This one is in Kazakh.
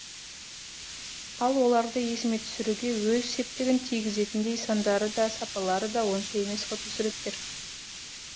ал оларды есіме түсіруге өз септігін тигізетіндер сандары да сапалары да онша емес фотосуреттер